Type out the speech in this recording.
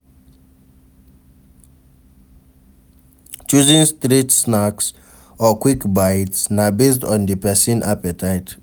Choosing street snacks or quick bites na based on di persin appetite